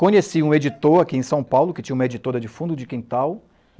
Conheci um editor aqui em São Paulo, que tinha uma editora de fundo de quintal.